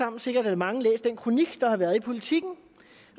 er sikkert mange af den kronik i politiken